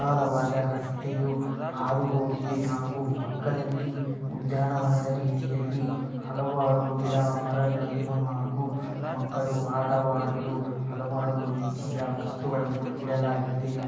ವಿಶಾಲವಾದ ರಸ್ತೆಯು ಹಾದು ಹೋಗಿದೆ ಹಾಗು ಪಕ್ಕದಲ್ಲಿ ಉದ್ಯಾನವನದ ರೀತಿಯಲ್ಲಿ ಹಲವಾರು ಗಿಡ ಮರಗಳನ್ನು ಹಾಗು ಮಕ್ಕಳು ಆಟವಾಡಲು ಹಲವಾರು ರೀತಿಯ ವಸ್ತುಗಳನ್ನು ಇಡಲಾಗಿದೆ ಹಾಗು --